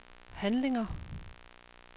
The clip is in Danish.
handlinger